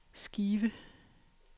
skive